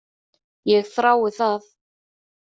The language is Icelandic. Ég þrái það.